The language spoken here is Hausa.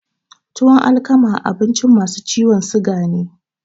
Tuwan alkama abinci masu ciwon suga ne